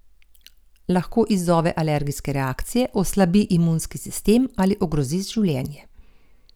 Lahko izzove alergijske reakcije, oslabi imunski sistem ali ogrozi življenje!